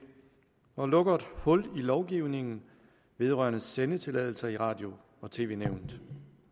og lukker et hul i lovgivningen vedrørende sendetilladelser i radio og tv nævnet